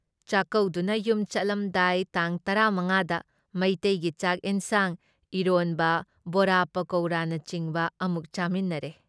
ꯆꯥꯛꯀꯧꯗꯨꯅ ꯌꯨꯝ ꯆꯠꯂꯝꯗꯥꯏ ꯇꯥꯡ ꯇꯔꯥ ꯃꯉꯥꯗ ꯃꯩꯇꯩꯒꯤ ꯆꯥꯛ ꯑꯦꯟꯖꯥꯡ, ꯏꯔꯣꯟꯕ, ꯕꯣꯔꯥ ꯄꯀꯧꯔꯥꯅꯆꯤꯡꯕ ꯑꯃꯨꯛ ꯆꯥꯃꯤꯟꯅꯔꯦ ꯫